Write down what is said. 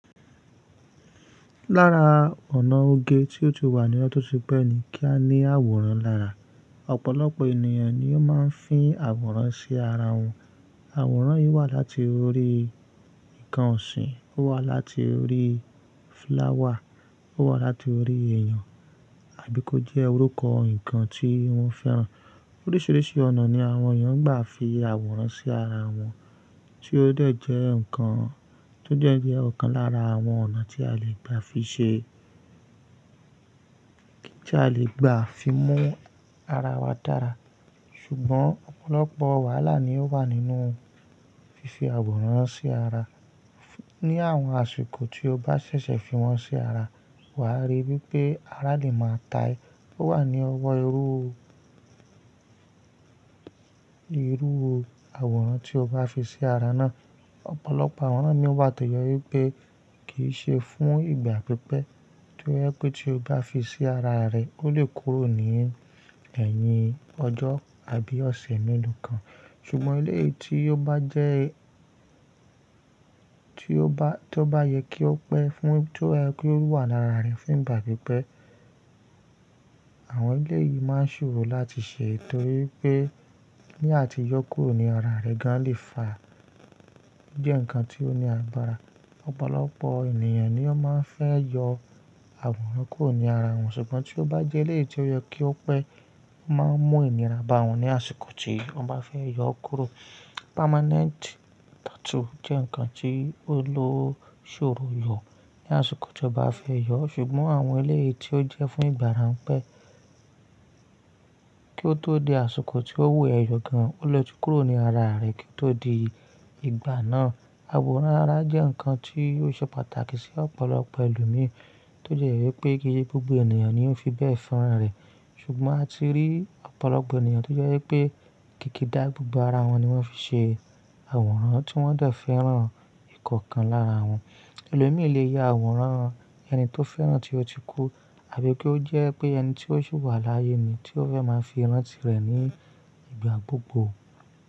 Lára ọ̀nà oge tí ó ti wà ní ọdún tí pẹ́ ni kí á ní àwòrán lára. Ọ̀pọ̀lọpọ̀ ènìyàn ni ó máa ń fín àwòrán sí ara wọn. Àwòrán yìí wà láti orí nǹkan ọ̀sìn, ó wà láti orí flower, ó wà láti orí èèyàn àbí kó jẹ́ orúkọ nǹkan tí wọ́n fẹ́ràn. Oríṣìíríṣìí ọ̀nà ni àwọn èèyàn gbà fi àwòrán sí ara wọn tí ó dẹ̀ jẹ́ nǹkan tó dẹ̀ jẹ́ ọ̀kan lára àwọn ọ̀nà tí a lè gbà fi ṣe, kí a lè gbà fi mú ara wa dára. Ṣùgbọ́n ọ̀pọ̀lọpọ̀ wàhálà ni ó wà nínú fífi àwòrán sí ara. Ni àwọn àsìkò tí o bá ṣẹ̀ṣẹ̀ fi wọ́n sí ara, wà á rí bí pé ara lè máa ta a ẹ̀ ó wà ní ọwọ́ irú, irú àwòrán tí o bá fi sí ara náà. Ọ̀pọ̀lọpọ̀ àwòrán mi wà tó jẹ́ ẹ wípé kì í ṣe fún ìgbà pípẹ́, tó jẹ́ pé tí o bá fi sí ara rẹ̀, ó lè kúrò ní ẹ̀yìn ọjọ́ àbí ọ̀sẹ̀ méèló kan. Ṣùgbọ́n eléyìí tí ó bá jẹ́, tí ó bá, tó bá yẹ kí ó pẹ́ fún, tó jẹ́ kí ó wà lára rẹ̀ fún ìgbà pípẹ́, àwọn eléyìí máa ń ṣòro láti ṣe torí pé ní àti yó kúrò ní ara rẹ̀ gan lè fa jẹ́ nǹkan tí ó ní agbára. Ọ̀pọ̀lọpọ̀ ènìyàn ni ó máa ń fẹ́ yọ àwòrán kúrò ní ara wọn, ṣùgbọ́n tí ó bá jẹ́ eléyìí tí ó yẹ kí ó pẹ́, ó máa ń mú ìnira bá wọn ní àsìkò tí wọ́n bá fẹ́ yọ ó kúrò. Permanent tattoo jẹ́ nǹkan tí ó lè ṣòro yọ ní àsìkò tí o bá fẹ́ yọ, ṣùgbọ́n àwọn eléyìí tí ó jẹ́ fún ìgbà ráńpẹ́ kí ó tó di àsìkò tí ó wù ẹ́ yọ gan, ó lè ti kúrò ní ara rẹ̀ kí ó tó di ìgbà náà. Àwòrán ara jẹ́ nǹkan tí ó ṣe pàtàkì sí ọ̀pọ̀lọpọ̀ ẹlòmíì, tó si ẹ jẹ̀pé kì í se gbogbo ènìyàn ni ó fi bẹ́ẹ̀ fẹ́ràn rẹ̀. Ṣùgbọ́n a ti rí ọ̀pọ̀lọpọ̀ ènìyàn tó jẹ́ wípé kìkì dá gbogbo ara wọn ni wọ́n fi ṣe àwòrán tí wọ́n dẹ̀ fẹ́ràn ìkọ̀ọ̀kan lára wọn. Elòmíì lè ya àwòrán ẹni tó fẹ́ràn tí ó ti kú àbí kó jẹ́ pé ẹni tí ó ṣi wà láàyè ni tí ó fẹ́ máa fi ìrántí rẹ̀ ní ìgbà gbogbo.